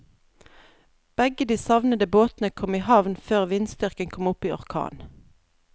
Begge de savnede båtene kom i havn før vindstyrken kom opp i orkan.